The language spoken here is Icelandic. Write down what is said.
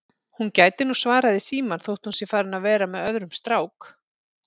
Hún gæti nú svarað í símann þótt hún sé farin að vera með öðrum strák